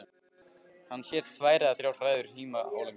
Hann sér tvær eða þrjár hræður híma álengdar.